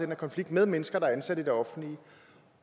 her konflikt med mennesker der er ansat i det offentlige